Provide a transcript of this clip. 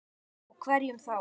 Og hverjum þá?